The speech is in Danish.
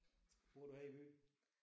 Bor du her i byen?